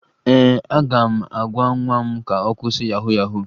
Ee, aga m agwa nwa m ka ọ kwụsị yahu yahu